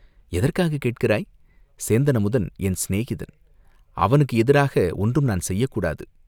"எதற்காகக் கேட்கிறாய்?" "சேந்தன் அமுதன் என் சிநேகிதன், அவனுக்கு எதிராக ஒன்றும் நான் செய்யக் கூடாது.